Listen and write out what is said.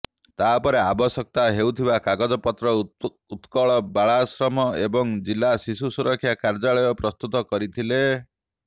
ତାପରେ ଆବଶ୍ୟକ ହେଉଥିବା କାଗଜପତ୍ର ଉତ୍କଳ ବାଳାଶ୍ରମ ଏବଂ ଜିଲ୍ଲା ଶିଶୁ ସୁରକ୍ଷା କାର୍ଯ୍ୟାଳୟ ପ୍ରସ୍ତୁତ କରିଥିଲେ